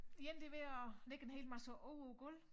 De ene de ved at lægge en hel masse over æ gulv